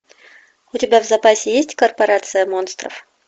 у тебя в запасе есть корпорация монстров